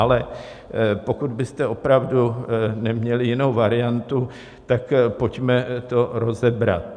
Ale pokud byste opravdu neměli jinou variantu, tak to pojďme rozebrat.